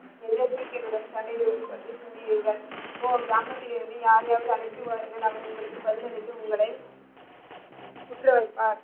போ கிராமத்திலிருந்து யாரையாவது அழைத்து வாருங்கள் அவர் உங்களுக்கு பதில் அளித்து உங்கள குற்ற வைப்பார்.